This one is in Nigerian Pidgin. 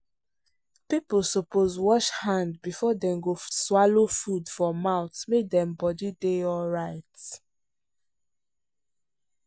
people suppose wash hand before dey go swallow food for mouth make dem body dey alright.